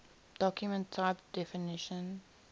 document type definition